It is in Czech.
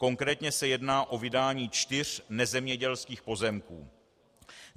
Konkrétně se jedná o vydání čtyř nezemědělských pozemků.